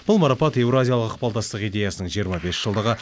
бұл марапат еуразиялық ықпалдастық идеясының жиырма бес жылдығы